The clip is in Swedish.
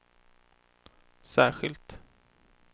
särskilt